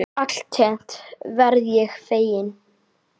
Alltént verð ég feginn.